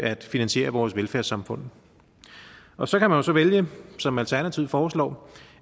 at finansiere vores velfærdssamfund og så kan man jo så vælge som alternativet foreslår